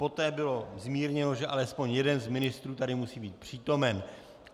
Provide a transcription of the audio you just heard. Poté bylo zmírněno, že alespoň jeden z ministrů tady musí být přítomen.